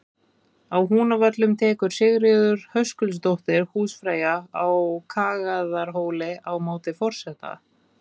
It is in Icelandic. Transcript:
Á Húnavöllum tekur Sigríður Höskuldsdóttir húsfreyja á Kagaðarhóli á móti forseta.